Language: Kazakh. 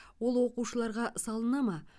ол оқушыларға салына ма